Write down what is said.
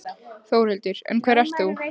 Þórhildur: En hver ert þú?